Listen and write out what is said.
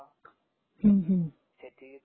हं हं